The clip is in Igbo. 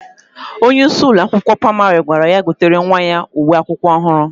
Onye isi Ụlọ akwụkwọ praịmarị gwara ya gotere nwa ya uwe akwụkwọ ohuru.